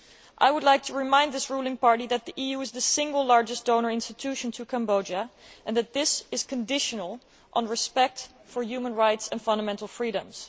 I would like to remind this ruling party that the EU is the single largest donor institution to Cambodia and that this aid is conditional on respect for human rights and fundamental freedoms.